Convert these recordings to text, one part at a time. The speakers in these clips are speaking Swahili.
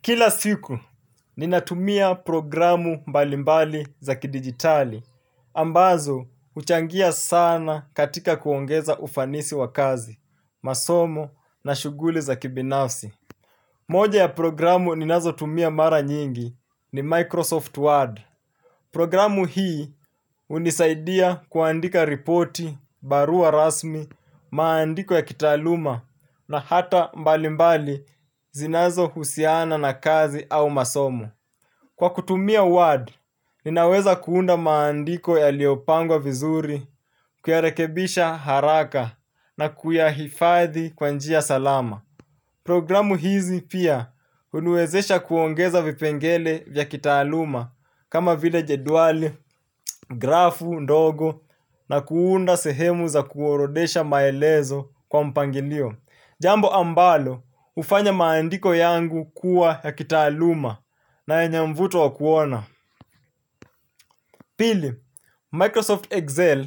Kila siku, ninatumia programu mbalimbali za kidigitali, ambazo uchangia sana katika kuongeza ufanisi wa kazi, masomo na shuguli za kibinafsi. Moja ya programu ninazo tumia mara nyingi ni Microsoft Word. Programu hii unisaidia kuandika ripoti, barua rasmi, maandiko ya kitaluma na hata mbalimbali zinazo husiana na kazi au masomu. Kwa kutumia WAD, ninaweza kuunda maandiko ya liopangwa vizuri, kuyarekebisha haraka na kuyahifadhi kwanjia salama. Programu hizi pia hunuwezesha kuongeza vipengele vya kitaluma kama videa jeduali, grafu, ndogo na kuunda sehemu za kuorodesha maelezo kwa mpangilio. Jambo ambalo ufanya maandiko yangu kuwa ya kitaaluma na ya nyamvuto wa kuona. Pili, Microsoft Excel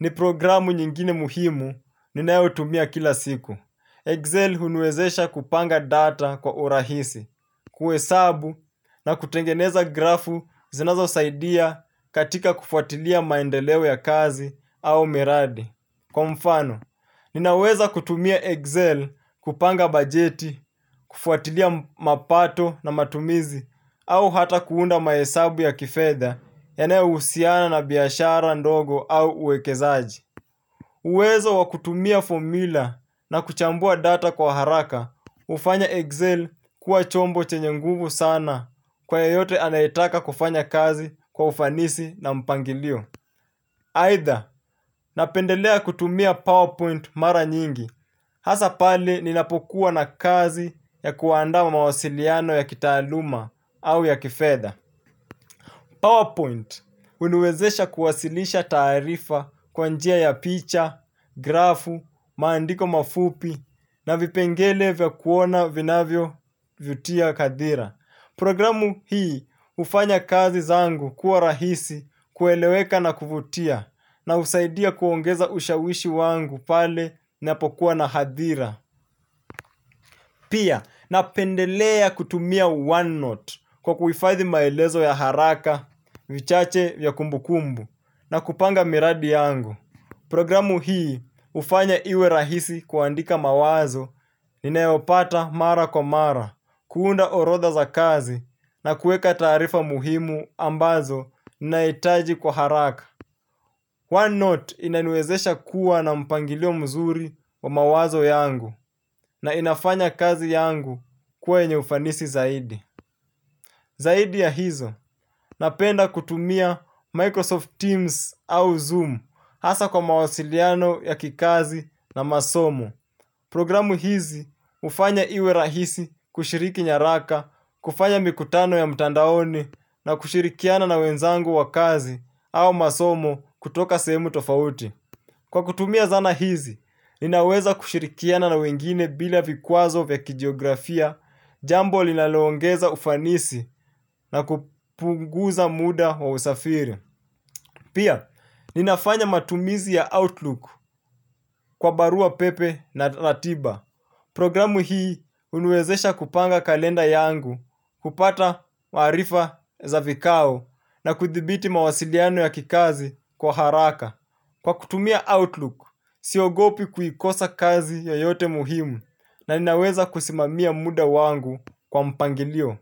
ni programu nyingine muhimu ninaeo tumia kila siku. Excel unwezesha kupanga data kwa urahisi, kuesabu na kutengeneza grafu zinazo saidia katika kufuatilia maendelewe ya kazi au miradi. Kwa mfano, ninaweza kutumia Excel kupanga bajeti, kufuatilia mapato na matumizi au hata kuunda maesabu ya kifedha ene usiana na biashara ndogo au uwekezaji. Uwezo wakutumia formula na kuchambua data kwa haraka, ufanya Excel kuwa chombo chenye nguvu sana kwa yoyote anaitaka kufanya kazi kwa ufanisi na mpangilio. Either napendelea kutumia PowerPoint mara nyingi, hasa pale ninapokuwa na kazi ya kuanda mawasiliano ya kitaluma au ya kifedha. PowerPoint unuwezesha kuwasilisha taarifa kwanjia ya picha, grafu, maandiko mafupi na vipengele vya kuona vinavyo vytia kadhira. Programu hii ufanya kazi zangu kuwa rahisi kueleweka na kuvutia na usaidia kuongeza ushawishi wangu pale napokuwa na hadhira. Pia na pendelea kutumia OneNote kwa kufaithi maelezo ya haraka, vichache vya kumbukumbu na kupanga miradi yangu. Programu hii ufanya iwe rahisi kuandika mawazo inayopata mara kwa mara, kuunda orodha za kazi na kueka tarifa muhimu ambazo na itaji kwa haraka. OneNote inaniwezesha kuwa na mpangilio mzuri wa mawazo yangu na inafanya kazi yangu kwenye ufanisi zaidi. Zaidi ya hizo napenda kutumia Microsoft Teams au Zoom hasa kwa mawasiliano ya kikazi na masomo. Programu hizi ufanya iwe rahisi kushiriki nyaraka, kufanya mikutano ya mtandaoni na kushirikiana na wenzangu wa kazi au masomo kutoka semu tofauti. Kwa kutumia zana hizi, ninaweza kushirikiana na wengine bila vikuazo vya kijiografia, jambo linalongeza ufanisi na kupunguza muda wa usafiri. Pia, ninafanya matumizi ya Outlook kwa barua pepe na ratiba. Programu hii unuezesha kupanga kalenda yangu, kupata maharifa za vikao na kuthibiti mawasiliano ya kikazi kwa haraka. Kwa kutumia Outlook, siogopi kuyikosa kazi yoyote muhimu na inaweza kusimamia muda wangu kwa mpangilio.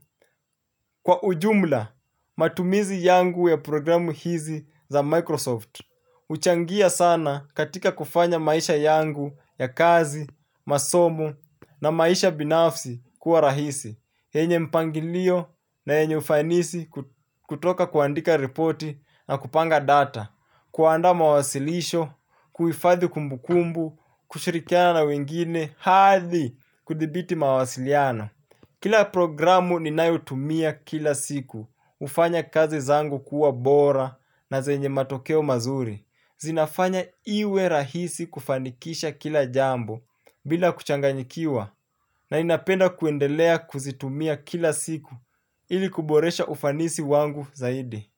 Kwa ujumla, matumizi yangu ya programu hizi za Microsoft. Uchangia sana katika kufanya maisha yangu ya kazi, masomu na maisha binafsi kuwa rahisi. Enye mpangilio na enye ufanisi kutoka kuandika reporti na kupanga data, kuanda mawasilisho, kuifadhi kumbukumbu, kushirikiana na wengine, hathi kudibiti mawasiliano. Kila programu ninayutumia kila siku, ufanya kazi zangu kuwa bora na zenye matokeo mazuri. Zinafanya iwe rahisi kufanikisha kila jambo bila kuchanganyikiwa na inapenda kuendelea kuzitumia kila siku ili kuboresha ufanisi wangu zaidi.